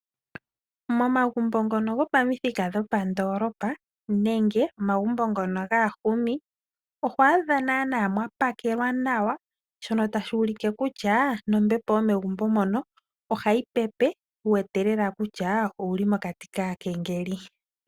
Momagumbo ngono gopamuthika dhopandolopa nenge omagumbo ngono gaahumi oho adha nana mwapakelwa nawa shono tashi ulike kutya nombepo yomegumbo moka ohayi pepe wu wete lela kutya owuli mokati kaakengeli.